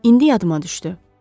İndi yadıma düşdü.